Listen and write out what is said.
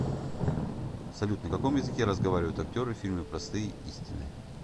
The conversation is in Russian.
салют на каком языке разговаривают актеры в фильме простые истины